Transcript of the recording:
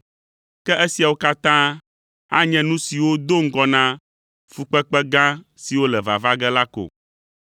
Ke esiawo katã anye nu siwo do ŋgɔ na fukpekpe gã siwo le vava ge la ko.